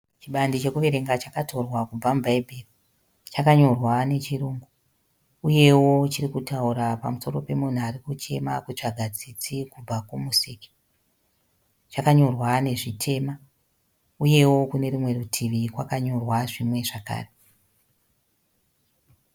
Chibandi chekuverenga chakatorwa kubva mubhaibhiri. Chakanyorwa nechirunhu uye chiri kutaura pamusoro pemunhu ari kuchema kutsvaka tsitsi kubva kuMusiki. Chakanyorwa nezvitema uyewo kune rumwe rutivi kwakanyorwa zvimwe zvakare.